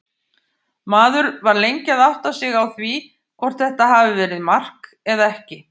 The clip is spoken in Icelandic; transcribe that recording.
Maður var lengi að átta sig á því hvort þetta hafi verið mark eða ekki.